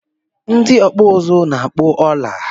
Ndị ọkpụ uzu na-akpọ ọla